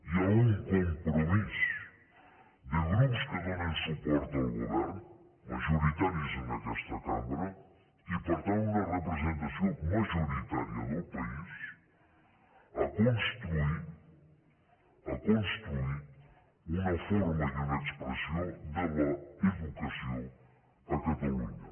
hi ha un compromís de grups que donen suport al govern majoritaris en aquesta cambra i per tant una representació majoritària del país a construir a construir una forma i una expressió de l’educació a catalunya